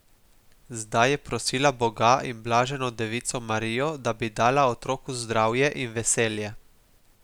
Zdaj je prosila Boga in blaženo devico Marijo, da bi dala otroku zdravje in veselje.